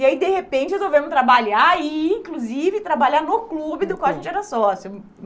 E aí, de repente, resolvemos trabalhar e, inclusive, trabalhar no clube do qual a gente era sócia.